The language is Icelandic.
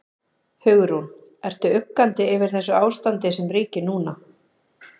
Hugrún: Ertu uggandi yfir þessu ástandi sem ríkir núna?